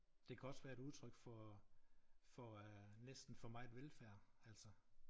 Det kan også være et udtryk for for øh næsten for meget velfærd altså